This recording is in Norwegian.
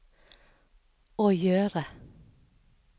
å gjøre